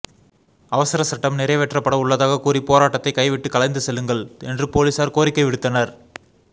அவசர சட்டம் நிறைவேற்றப்பட உள்ளதாக கூறி போராட்டத்தை கைவிட்டு கலைந்து செல்லுங்கள் என்று போலீசார் கோரிக்கை விடுத்தனர்